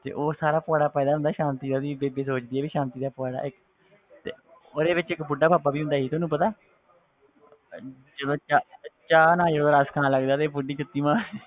ਤੇ ਉਹ ਸਾਰਾ ਪੁਆੜਾ ਪਾਏਦਾ ਹੁੰਦਾ ਸਾਂਤੀ ਦਾ ਉਹਦੀ ਬੇਬੇ ਸੋਚਦੀ ਆ ਵੀ ਸਾਂਤੀ ਦਾ ਪੁਆੜਾ ਹੈ ਤੇ ਉਹਦੇ ਵਿੱਚ ਇੱਕ ਬੁੱਢਾ ਬਾਬਾ ਵੀ ਹੁੰਦਾ ਸੀ ਤੁਹਾਨੂੰ ਪਤਾ ਜਦੋਂ ਚਾਹ ਚਾਹ ਨਾਲ ਜਦੋਂ ਰਸ ਖਾਣ ਲੱਗਦਾ ਤੇ ਬੁੱਢੀ ਜੁੱਤੀ ਮਾਰਦੀ